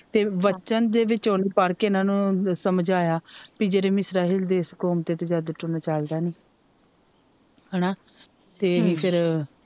ਤੇ ਵਚਨ ਦੇ ਵਿੱਚੋ ਹੀ ਪੜ ਕੇ ਹੀ ਇਹਨਾਂ ਨੂੰ ਸਮਝਾਇਆ ਪੀ ਜਿਹੜੇ ਦੇਸ਼ ਕੌਮ ਤੇ ਤਾ ਜਾਦੂ ਟੂਣਾ ਚਲਦਾ ਈ ਨਹੀਂ ਹੈਨਾ ਤੇ ਫਿਰ